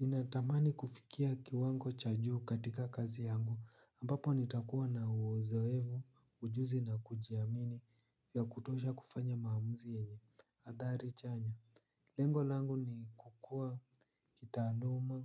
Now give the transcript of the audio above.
Ninatamani kufikia kiwango cha juu katika kazi yangu ambapo nitakuwa na uzoefu, ujuzi na kujiamini ya kutosha kufanya maamuzi yenye athari chanya. Lengo langu ni kukua kitaaluma